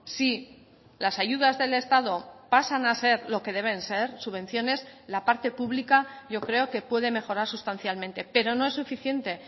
si las ayudas del estado pasan a ser lo que deben ser subvenciones la parte pública yo creo que puede mejorar sustancialmente pero no es suficiente